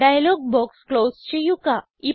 dialogue box close ചെയ്യുക